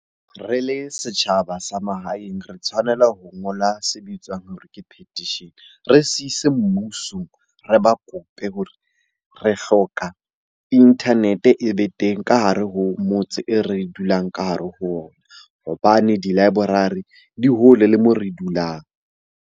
Re le setjhaba sa mahaeng re tshwanela ho ngola se bitswang hore ke petition. Re siise mmusong, re ba kope hore re hloka internet-e e be teng ka hare ho motse e re dulang ka hare ho ona. Hobane di-library di hole le moo re dulang.